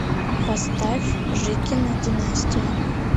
поставь жикина династия